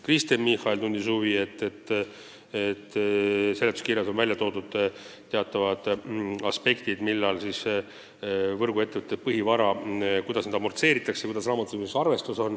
Kristen Michal märkis, et seletuskirjas on toodud teatavad aspektid, millal ja kuidas raamatupidamisarvestuses võrguettevõtte põhivara amortisatsiooni arvestatakse.